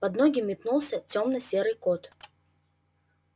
под ноги метнулся тёмно-серый кот